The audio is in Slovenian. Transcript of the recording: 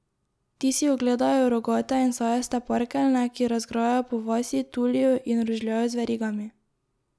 Ti si ogledajo rogate in sajaste parkeljne, ki razgrajajo po vasi, tulijo in rožljajo z verigami.